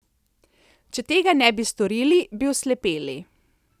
Če tega ne bi storili, bi oslepeli.